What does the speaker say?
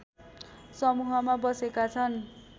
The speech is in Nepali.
समूहमा बसेका छन्